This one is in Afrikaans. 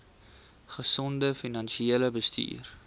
gesonde finansiële bestuur